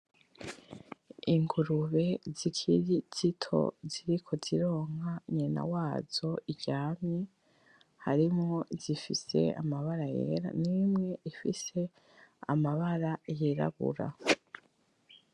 Ingurube zikiri zito ziriko zironka nyina wazo iryamye harimwo izifise amabara yera nimwe ifise amabara yirabura.